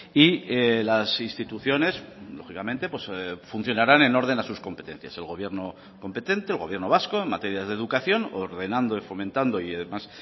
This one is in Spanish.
y las instituciones lógicamente funcionarán en orden a sus competencias el gobierno competente el gobierno vasco en materia de educación ordenando y fomentando y además